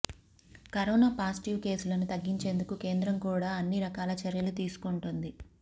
corona positive కేసులను తగ్గించేందుకు కేంద్రం కూడ అన్ని రకాల చర్యలు తీసుకొంటుంది